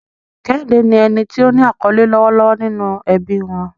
Kehinde ni ẹni tí ó ní àkọlé lọ́wọ́lọ́wọ́ nínú ẹbí wọn.